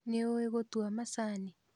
Nĩũĩ gũtua macani?